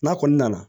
N'a kɔni nana